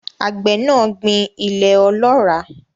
Àgbẹ̀ náà gbìn ilẹ̀ ọlọ́ràá.